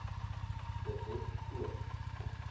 de wet toon